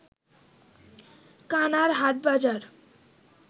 কানার হাটবাজার